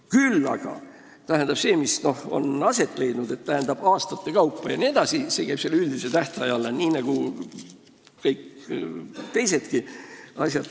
Küll aga käib kõik see, mis on kõnealusel juhul aastate kaupa aset leidnud, üldise tähtaja alla nii nagu kõik teisedki asjad.